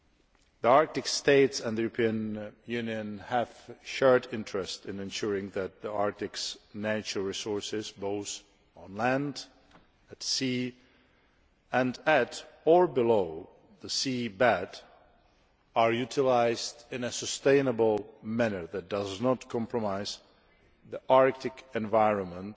The Arctic States and the European Union have a shared interest in ensuring that the Arctic's natural resources, both on land, at sea and on or below the seabed, are utilised in a sustainable manner that does not compromise the Arctic environment,